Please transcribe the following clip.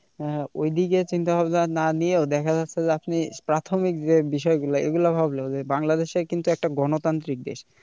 আহ ওইদিকে চিন্তাভাবনা না নিয়েও দেখা যাচ্ছে যে আপনি প্রাথমিক যে বিষয়গুলো এগুলো ভাবলেও যে বাংলাদেশ কিন্তু একটা গণতান্ত্রিক দেশ।